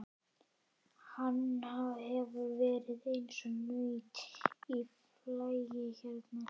Hann hefur verið eins og naut í flagi hérna.